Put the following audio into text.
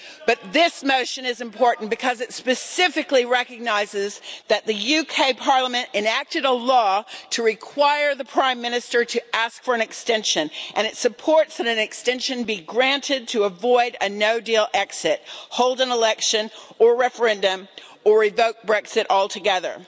But this motion is important because it specifically recognises that the UK Parliament enacted a law to require the Prime Minister to ask for an extension, and it supports an extension being granted to avoid a no deal exit, hold an election or referendum, or revoke Brexit altogether.